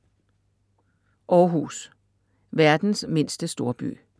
Århus - verdens mindste storby